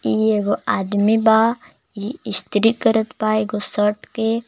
ई एगो आदमी बा ई स्त्री करत बा एगो शर्ट के।